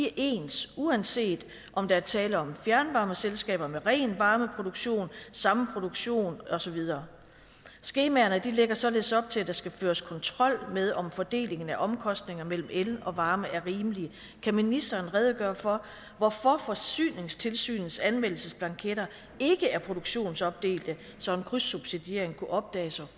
er ens uanset om der er tale om fjernvarmeselskaber med ren varmeproduktion samproduktion og så videre skemaerne lægger således op til at der skal føres kontrol med om fordelingen af omkostninger mellem el og varme er rimelig kan ministeren redegøre for hvorfor forsyningstilsynets anmeldelsesblanketter ikke er produktionsopdelte så en krydssubsidiering kunne opdages og